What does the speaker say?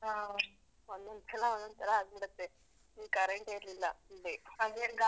ಆ ಒಂದೊಂದ್ಸಲ ಒಂದೊಂದ್ತರ ಆಗ್ಬಿಡುತ್ತೆ. full current ಎ ಇರ್ಲಿಲ್ಲ full day.